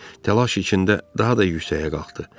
Təlaş içində daha da yüksəyə qalxdı.